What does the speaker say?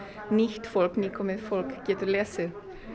nýtt fólk nýkomið fólk geti lesið